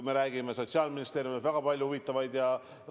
Me ju räägime, et Sotsiaalministeerium teeb väga palju huvitavaid kampaaniaid.